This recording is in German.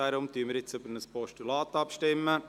Deshalb stimmen wir über ein Postulat ab.